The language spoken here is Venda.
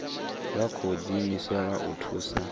vha tsho diimisela u thusa